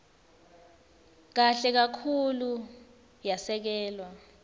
kahle kakhulu yasekelwa